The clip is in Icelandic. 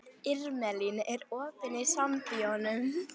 Irmelín, er opið í Sambíóunum?